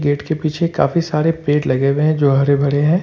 Gate के पीछे काफी सारे पेड़ लगे हुए हैं जो हरे भरे हैं।